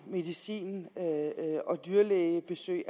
medicin og dyrlægebesøg